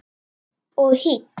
Og hýdd.